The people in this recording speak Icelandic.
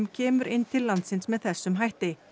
kemur inn til landsins með þessum hætti